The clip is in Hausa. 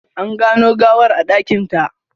An gano gawar a dakinta.